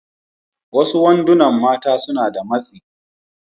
Wasu wandunan mata suna da matsi.